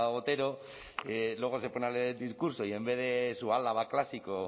otero luego se pone a leer el discurso y en vez de su álava clásico